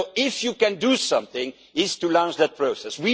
countries. So, if you can do something, it is to launch that